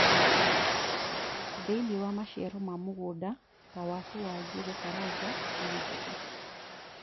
thĩinĩ wa maciaro ma mũgũnda ta watu ma njũgũ karanga na njũgũ